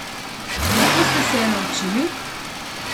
Kako ste se je naučili?